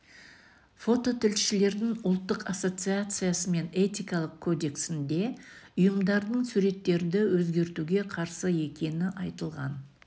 фототілшілердің ұлттық ассоциациясы мен этикалық кодексінде ұйымдардың суреттерді өзгертуге қарсы екені айтылған